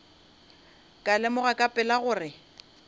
ka lemoga ka pela gore